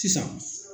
Sisan